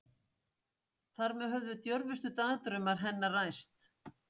Þar með höfðu djörfustu dagdraumar hennar ræst.